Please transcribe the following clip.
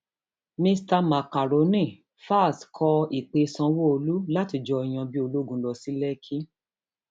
mista makrónì falz kọ ìpè sanwóolu láti jọ yan bíi ológun lọ sí lèkì